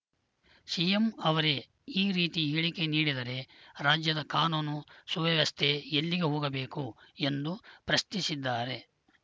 CM ಅವರೇ ಈ ರೀತಿ ಹೇಳಿಕೆ ನೀಡಿದರೆ ರಾಜ್ಯದ ಕಾನೂನು ಸುವ್ಯವಸ್ಥೆ ಎಲ್ಲಿಗೆ ಹೋಗಬೇಕು ಎಂದು ಪ್ರಶ್ನಿಸಿದ್ದಾರೆ